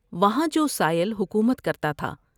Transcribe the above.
وہاں جو سائل حکومت کرتا تھا